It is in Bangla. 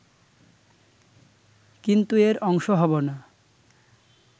কিন্তু এর অংশ হবো না